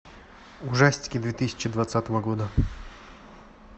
ужастики две тысячи двадцатого года